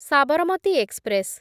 Sabarmati express